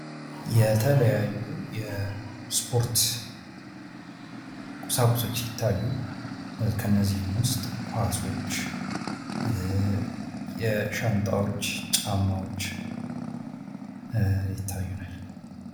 የተለያዩ የስፖርት ቁሳቁሶች ሲታዩ፤ ከእነዚህም ዉስጥ ኳሶች፣ ሻንጣዎች፣ ጫማዎች ይታዩናል።